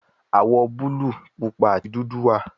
Awọ buluu, pupa ati dudu wa